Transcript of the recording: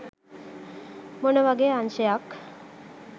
මොන වගේ අංශයක්